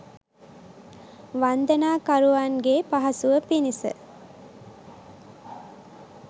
වන්දනාකරුවන්ගේ පහසුව පිණිස